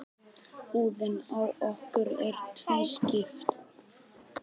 Húðin á okkur er tvískipt.